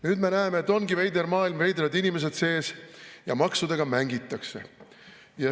Nüüd me näeme, et ongi veider maailm, veidrad inimesed sees ja maksudega mängitakse.